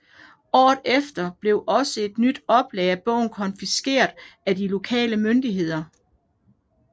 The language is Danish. Året efter blev også et nyt oplag af bogen konfiskeret af de lokale myndigheder